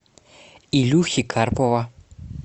илюхи карпова